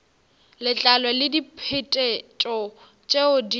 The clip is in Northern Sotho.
letlalo le diphetetšo tšeo di